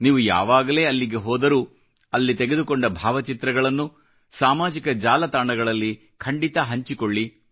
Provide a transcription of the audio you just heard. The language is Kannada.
ನೀವು ಯಾವಾಗಲೇ ಅಲ್ಲಿಗೆ ಹೋದರೂ ಅಲ್ಲಿ ತೆಗೆದುಕೊಂಡ ಭಾವಚಿತ್ರಗಳನ್ನು ಸಾಮಾಜಿಕ ಜಾಲತಾಣಗಳಲ್ಲಿ ಖಂಡಿತ ಹಂಚಿಕೊಳ್ಳಿ